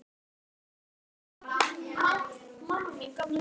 Ljósar hetjur og dökkar hetjur.